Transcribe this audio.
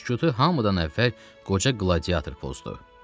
Sükutu hamıdan əvvəl qoca qladiator pozdu.